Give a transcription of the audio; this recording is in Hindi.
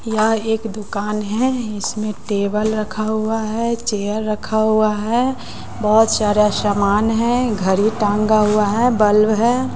यह एक दुकान है इसमें टेबल रखा हुआ है चेयर रखा हुआ है बहुत सारा सामान है घड़ी टंगा हुआ है बल्ब है।